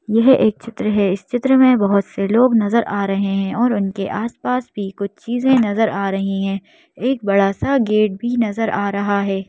यह एक चित्र है इस चित्र में बहुत से लोग नजर आ रहे हैं और उनके आस-पास भी कुछ चीज़ें नजर आ रही हैं एक बड़ा सा गेट भी नजर आ रहा है।